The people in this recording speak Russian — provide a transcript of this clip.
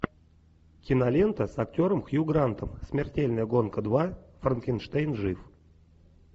кинолента с актером хью грантом смертельная гонка два франкенштейн жив